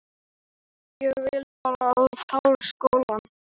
Sesilía, hvað geturðu sagt mér um veðrið?